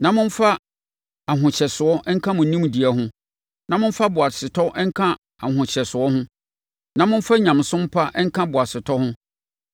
na momfa ahohyɛsoɔ nka mo nimdeɛ ho; na momfa boasetɔ nka mo ahohyɛsoɔ ho; na momfa nyamesom pa nka mo boasetɔ ho;